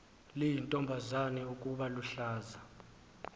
liyintombazana ukuba luhlaza